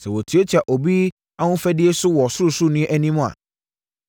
sɛ wɔtiatia obi ahofadie so wɔ Ɔsorosoroni no anim a,